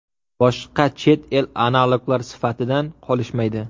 Boshqa chet el analoglar sifatidan qolishmaydi.